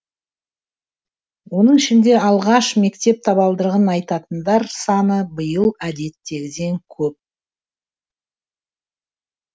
оның ішінде алғаш мектеп табалдырығын аттайтындар саны биыл әдеттегіден көп